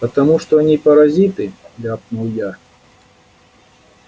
потому что они паразиты ляпнул я